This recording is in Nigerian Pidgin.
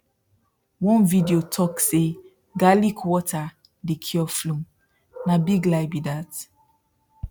one video talk say garlic water dey cure flu na big lie be that